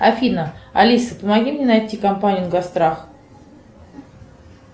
афина алиса помоги мне найти компанию госстрах